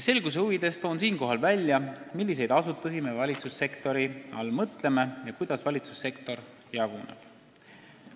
Selguse huvides toon ka, milliseid asutusi me valitsussektori all mõtleme ja kuidas valitsussektor jaguneb.